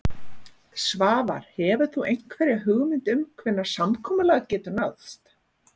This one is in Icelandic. Svavar: Hefur þú einhverja hugmynd um hvenær samkomulag getur náðst?